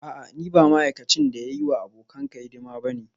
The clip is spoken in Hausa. A'a ni ba ma'aikacin da ya yi wa abokanka hidima ba ne